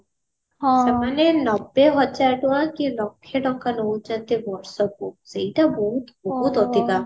ନବେ ହଜାର ଟଙ୍କା କି ଲକ୍ଷେ ଟଙ୍କା ନଉଛନ୍ତି ବର୍ଷକୁ ସେଇଟା ବହୁତ ବହୁତ ଅଧିକା